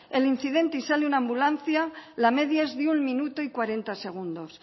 el incidente y sale una ambulancia la media es de un minuto y cuarenta segundos